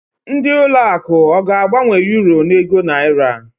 Ndị ụlọ akụ ọ ga-agbanwe Uro a n'ego Naira?